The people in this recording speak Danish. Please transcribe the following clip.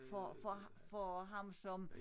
For for for ham som